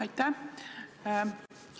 Aitäh!